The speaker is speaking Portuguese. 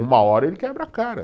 Uma hora ele quebra a cara.